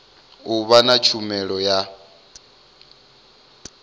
u vha na tshumelo ya